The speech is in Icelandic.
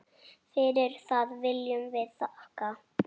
Fyrir það viljum við þakka.